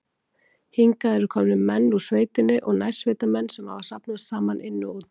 Hingað eru komnir menn úr sveitinni og nærsveitamenn, sem hafa safnast saman inni og úti.